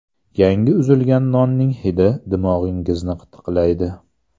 Yangi uzilgan nonning hidi dimog‘ingizni qitiqlaydi.